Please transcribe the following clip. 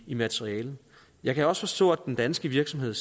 i materialet jeg kan også forstå at den danske virksomhed